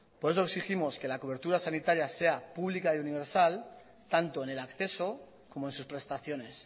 por eso exigimos que cobertura sanitaria sea pública y universal tanto en el acceso como en sus prestaciones